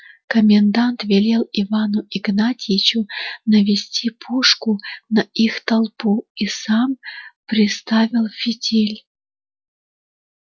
комендант велел ивану игнатьичу навести пушку на их толпу и сам приставил фитиль